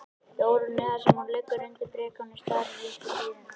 Jórunni, þar sem hún liggur undir brekáni og starir upp í súðina.